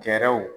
Gɛrɛw